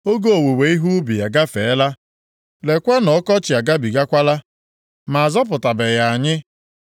“Oge owuwe ihe ubi agafeela, leekwa na ọkọchị agabigakwala, ma a zọpụtabeghị anyị.”